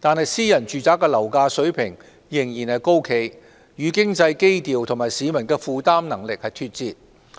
但私人住宅樓價水平仍然高企，與經濟基調和市民的負擔能力脫節。